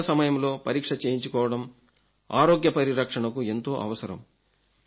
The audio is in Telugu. సరైన సమయంలో పరీక్ష చేయించుకోవడం ఆరోగ్య పరిరక్షణకు ఎంతో అవసరం